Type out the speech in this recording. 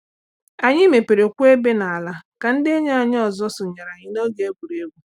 Anyị meperekwuo ebe n’ala ka ndị enyi ọzọ sonyere anyị n’oge egwuregwu.